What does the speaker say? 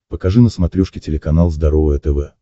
покажи на смотрешке телеканал здоровое тв